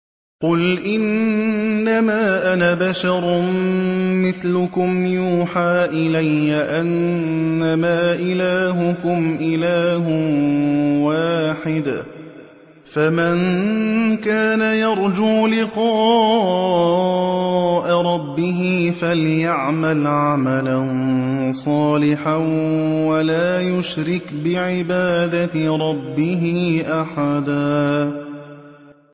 قُلْ إِنَّمَا أَنَا بَشَرٌ مِّثْلُكُمْ يُوحَىٰ إِلَيَّ أَنَّمَا إِلَٰهُكُمْ إِلَٰهٌ وَاحِدٌ ۖ فَمَن كَانَ يَرْجُو لِقَاءَ رَبِّهِ فَلْيَعْمَلْ عَمَلًا صَالِحًا وَلَا يُشْرِكْ بِعِبَادَةِ رَبِّهِ أَحَدًا